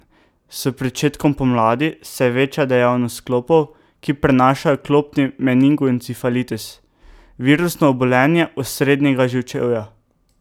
S pričetkom pomladi se veča dejavnost klopov, ki prenašajo klopni meningoencefalitis, virusno obolenje osrednjega živčevja.